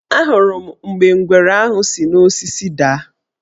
Ahụrụ m mgbe ngwere ahụ si n' osisi daa.